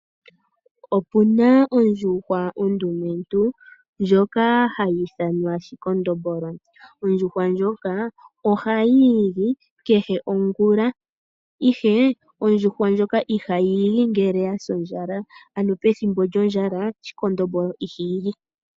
Opuna ondjuhwa ondumentu ndjoka hayi ithanwa shikondombolo. Ondjuhwa ndjoka ohayiigi kehe ongula, ihe ondjuhwa ndjoka ihayi igi ngele yasa ondjala. Ano pethimbo lyondjala shikondombolo iha igi.